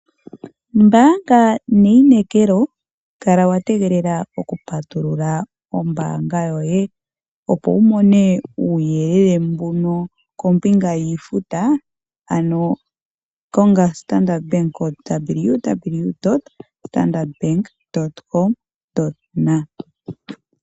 Mbanga neyi nekelo, kala watengelela oku patulula ombanga yoye opo wumone uyelele mbuno kombinga yifuta ano konga Standard Bank ko www.stanardbank .com.